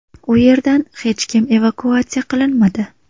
U yerdan hech kim evakuatsiya qilinmadi.